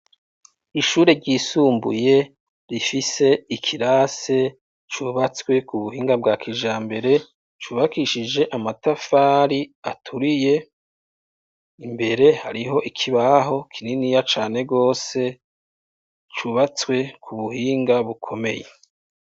Ishure ryisumbuye, rifise ikirase, cubatswe ku buhinga bwa kijambere, cubakishije amatafari aturiye, imbere, hariho ikibaho kininiya cane rwose, cubatswe ku buhinga bukomeye.